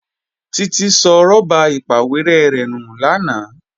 Títí sọ rọ́bà ìpàwérẹ́ rẹ̀ nù lánàá